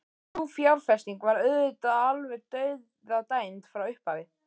Sú fjárfesting var auðvitað alveg dauðadæmd frá upphafi.